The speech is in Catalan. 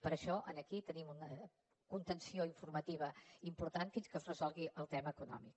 per això aquí tenim una contenció informativa important fins que es resolgui el tema econòmic